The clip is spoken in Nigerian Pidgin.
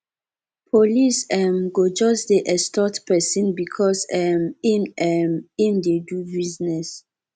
police um go just dey extort pesin because um im um im dey do business